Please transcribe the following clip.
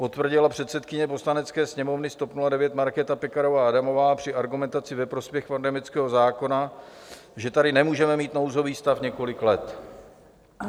Potvrdila předsedkyně Poslanecké sněmovny z TOP 09 Markéta Pekarová Adamová při argumentaci ve prospěch pandemického zákona, že tady nemůžeme mít nouzový stav několik let.